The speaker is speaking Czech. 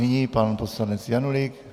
Nyní pan poslanec Janulík.